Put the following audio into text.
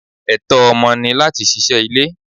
Ẹtọ ọmọ ni láti ṣíṣe ilé.